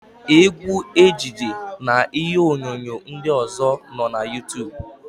Égwú, ejije na ihe onyonyo ndị ọ̀zọ́ nọ na Yuutub.